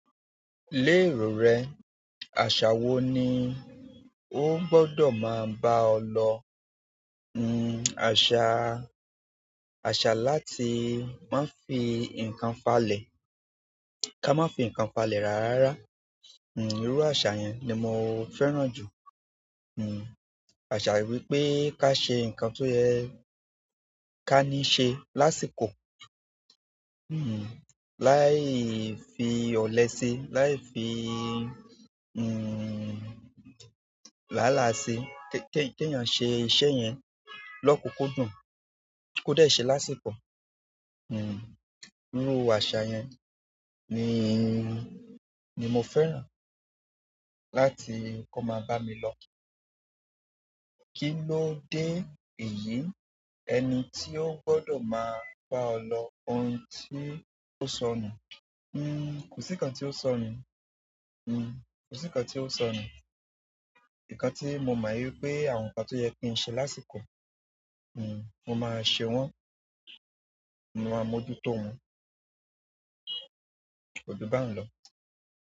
Léèrò rẹ, àṣà wo ni ó gbọdọ̀ máa bá ọ lọ? Àṣà, àṣà láti máa ń fi nǹkan falẹ̀, ká má fi nǹkan falẹ̀ rárá rárá. Hmm irú àṣà yẹn ni mo fẹ́ràn jù. Àṣà wípé ká ṣe nǹkan tó yẹ ká ní ṣe lásìkò. Láì fi ọ̀lẹ ṣe, láì fi làálàá ṣe. Kí ènìyàn ṣe iṣẹ́ yẹn lọ́kùúkú dùn kò dẹ̀ ṣe lásìkò. Irú àṣà yẹn ni, ni mo fẹ́ràn láti kó máa bá mi lọ. Kí ló dé èyí? Ẹni tí ó gbọdọ̀ máa bá ọ lọ, ohun tí ó sọ nù. Kò sí nǹkan tí ó sọ nù. Hmm kò sí kan tí ó sọ nù. Ǹnkan tí mo mọ̀ wípé àwọn nǹkan tó yẹ kí ń ṣe lásìkò, mo máa ṣe wọ́n. Mo máa mójú tó wọn. Ko ju bá ùn lọ.